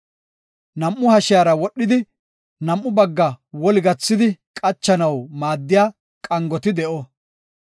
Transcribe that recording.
Nam7u hashiyara wodhidi, nam7u baggaa woli gathidi qachanaw maaddiya qangoti de7o.